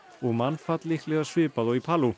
og mannfall líklega svipað og í